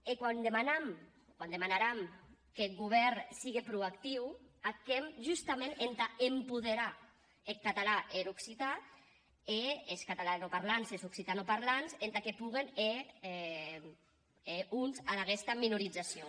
e quan demanam quan ac demanaram qu’eth govèrn sigue pro actiu ac hèm justament entà empoderar eth catalan e er occitan e es catalanoparlants e es occitanoparlants entà que poguen hèr front ad aguesta minorizacion